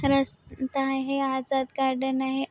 रस्ता आहे अजाद गार्डन आहे.